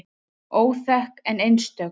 Óþekk en einstök.